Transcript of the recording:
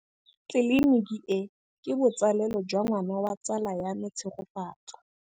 Tleliniki e, ke botsalêlô jwa ngwana wa tsala ya me Tshegofatso.